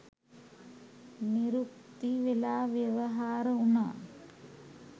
නිරුක්ති වෙලා ව්‍යවහාර වුණා.